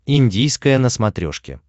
индийское на смотрешке